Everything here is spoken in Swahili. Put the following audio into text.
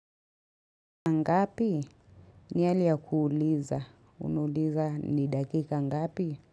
Ngapi? Ni hali ya kuuliza. Unauliza ni dakika ngapi?